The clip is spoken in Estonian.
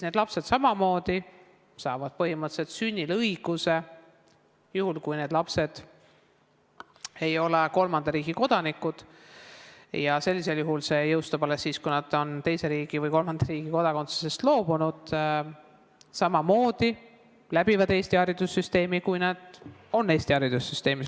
Need lapsed saavad samamoodi põhimõtteliselt sünniga selle õiguse – juhul kui nad ei ole kolmanda riigi kodanikud, sellisel juhul jõustub see alles siis, kui nad on kolmanda riigi kodakondsusest loobunud – ja samamoodi õpivad nad Eesti haridussüsteemis.